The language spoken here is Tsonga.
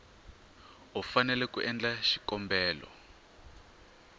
u fanele ku endla xikombelo